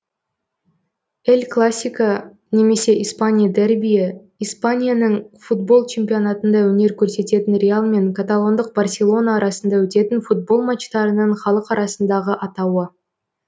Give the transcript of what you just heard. эль класико немесе испания дербиі испанияның футбол чемпионатында өнер көрсететін реал мен каталондық барселона арасында өтетін футбол матчтарының халық арасындағы атауы